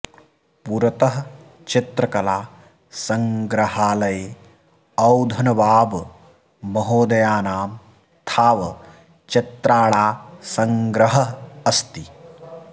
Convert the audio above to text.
पुरतः चित्रकला सङ्ग्रहालये औधनवाब महोदयानाम थाव चित्राणा सङ्ग्रहः अस्ति